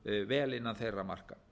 vel innan þeirra marka